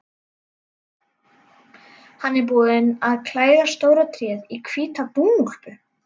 Hann er búinn að klæða stóra tréð í hvíta dúnúlpu.